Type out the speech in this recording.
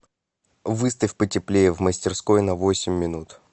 выставь потеплее в мастерской на восемь минут